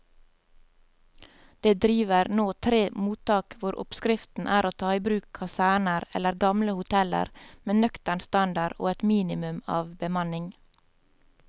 Det driver nå tre mottak hvor oppskriften er å ta i bruk kaserner eller gamle hoteller med nøktern standard og et minimum av bemanning.